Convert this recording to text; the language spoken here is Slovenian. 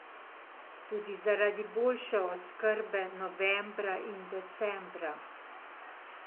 Tudi zaradi boljše oskrbe novembra in decembra.